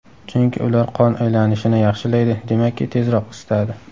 Chunki ular qon aylanishini yaxshilaydi, demakki, tezroq isitadi.